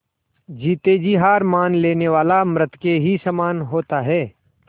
जीते जी हार मान लेने वाला मृत के ही समान होता है